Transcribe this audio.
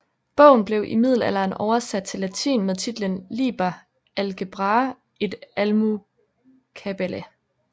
Bogen blev i middelalderen oversat til latin med titlen Liber algebrae et almucabala